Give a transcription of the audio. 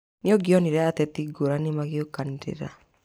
Nĩũngĩonore ateti ngũrani magĩũkanĩrĩra